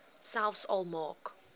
selfs al maak